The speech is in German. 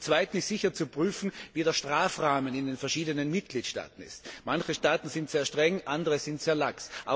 Zum Zweiten ist sicher zu prüfen, wie der Strafrahmen in den verschiedenen Mitgliedstaaten ist. Manche Staaten sind sehr streng, andere sind sehr lax.